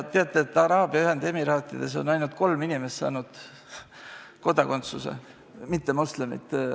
Teate, Araabia Ühendemiraatides on saanud kodakondsuse ainult kolm inimest, kes on mittemoslemid.